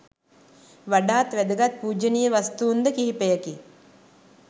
වඩාත් වැදගත් පූජනීය වස්තූන්ද කිහිපයකි.